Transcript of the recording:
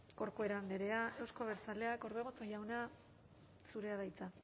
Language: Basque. corcuera andrea euzko abertzaleak orbegozo jauna zurea da hitza